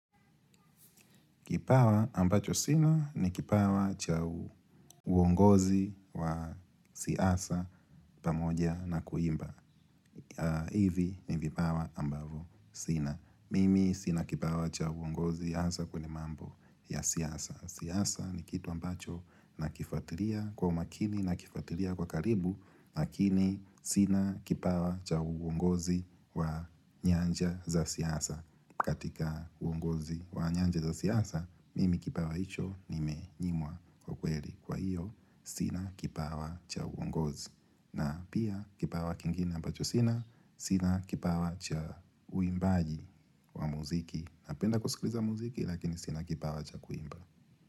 Kipawa ambacho sina ni kipawa cha uongozi wa siasa pamoja na kuimba. Hivi ni vipawa ambavyo sina. Mimi sina kipawa cha uongozi hasa kwenye mambo ya siasa. Siasa ni kitu ambacho nakifatilia kwa umakini nakifatilia kwa karibu. Lakini sina kipawa cha uongozi wa nyanja za siasa. Katika uongozi wa nyanja za siasa mimi kipawa icho nimenyimwa kwa kweli. Kwa hiyo sina kipawa cha uongozi. Na pia kipawa kingine ambacho sina. Sina kipawa cha uimbaji wa muziki. Napenda kusikiliza muziki lakini sina kipawa cha kuimba.